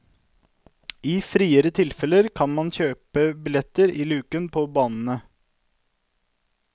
I friere tilfeller kan man kjøpe billetter i lukene på banene.